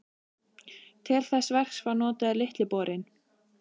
Til þess verks var notaður Litli borinn.